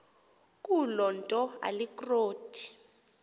kuloo nto alikroti